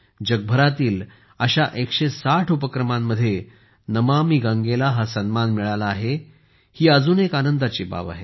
जगभरातील अशा 160 उपक्रमांमध्ये नमामि गंगेला हा सन्मान मिळाला आहे ही अजून एक आनंदाची बाब आहे